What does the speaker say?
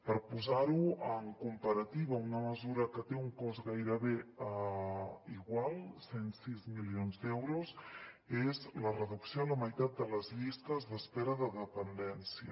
per posar ho en comparativa una mesura que té un cost gairebé igual cent i sis milions d’euros és la reducció a la meitat de les llistes d’espera de dependència